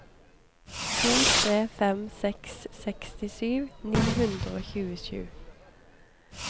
to tre fem seks sekstisju ni hundre og tjuesju